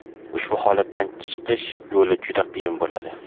Ushbu holatdan chiqish yo‘li juda qiyin bo‘ladi.